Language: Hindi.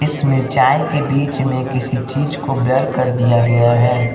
इस मिर्चाई के बीच में किसी चीज को ब्लर कर दिया गया है।